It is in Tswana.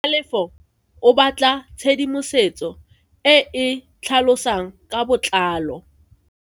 Tlhalefo o batla tshedimosetso e e tlhalosang ka botlalo.